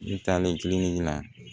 N taalen kilenni na